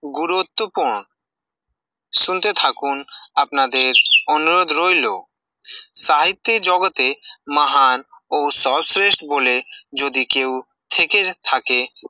গুরুত্ত পূর্ণ, শুনতে থাকুন, আপনাদের অনুরোধ রইল, সাহিত্যের জগতে মাহান ও সবস্তরেস্ট বলে, যদি কেউ থেকে থাকে